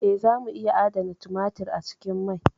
Eh, zamu iya adana tumatir a cikin mai.